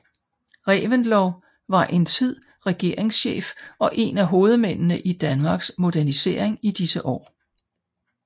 Reventlow var en tid regeringschef og en af hovedmændene i Danmarks modernisering i disse år